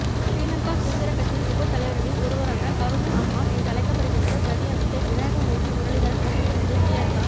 ஸ்ரீலங்கா சுதந்தரக் கட்சியின் உப தலைவர்களில் ஒருவரான கருணா அம்மான் என்றழைக்கப்படுகின்ற பிரதியமைச்சர் விநாயகமூர்த்தி முரளிதரன் வகித்து வந்த ஸ்ரீலங்கா